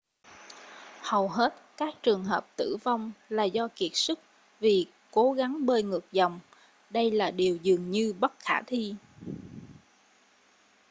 hầu hết các trường hợp tử vong là do kiệt sức vì cố gắng bơi ngược dòng đây là điều dường như bất khả thi